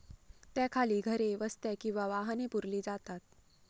त्याखाली घरे, वस्त्या किंवा वाहने पुरली जातात.